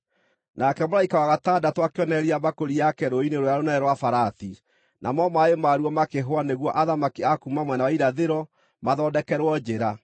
Nake mũraika wa gatandatũ akĩonoreria mbakũri yake rũũĩ-inĩ rũrĩa rũnene rwa Farati, namo maaĩ maruo makĩhwa nĩguo athamaki a kuuma mwena wa Irathĩro mathondekerwo njĩra.